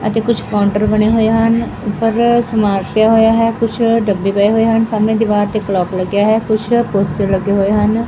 ਅਤੇ ਕੁਛ ਕਾਉੰਟਰ ਬਣੇ ਹੋਏ ਹਨ ਊਪਰ ਸਮਾਨ ਪਿਆ ਹੋਇਆ ਹੈ ਕੁਛ ਡੱਬੇ ਪਏ ਹੋਏ ਹਨ ਸਾਹਮਣੇ ਦਿਵਾਰ ਤੇ ਕਲੋਕ ਲੱਗਿਆ ਹੈ ਕੁਛ ਪੋਸਟਰ ਲੱਗੇ ਹੋਏ ਹਨ।